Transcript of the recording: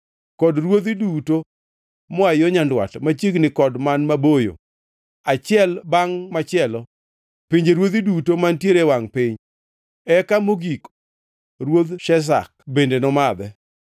kod ruodhi duto moa yo nyandwat, machiegni kod man maboyo, achiel bangʼ machielo, pinjeruodhi duto mantiere e wangʼ piny. Eka mogik, ruodh Sheshak bende nomadhe.